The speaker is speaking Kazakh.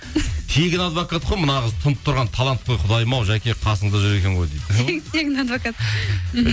тегін адвокат қой мына қыз тұнып тұрған талант қой құдайым ау жәке қасыңызда жүр екен ғой дейді тегін адвокат мхм